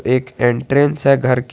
एक एंट्रेंस है घर की।